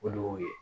O de y'o ye